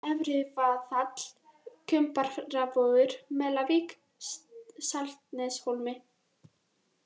Efrivaðall, Kumbaravogur, Melavík, Saltneshólmi